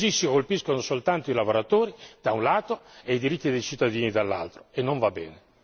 Così si colpiscono soltanto i lavoratori, da un lato, e i diritti dei cittadini, dall'altro, e non va bene.